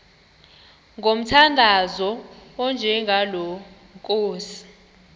ngomthandazo onjengalo nkosi